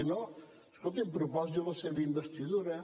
si no escolti’m proposi la seva investidura